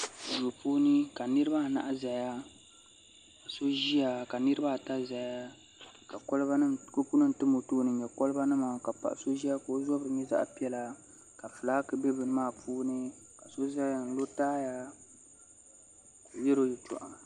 do puuni ka niribaanahi zaya so ʒɛya ka niribaata ʒɛya ka kopunim tum o tuuni ni loba nima ka paɣ' so ʒɛ ka o zabiri nyɛ zaɣ' piɛlla ka ƒɔlaaki bɛ bɛn maa puuni ka so zaya n lo taya ka be yɛro yatuɣ'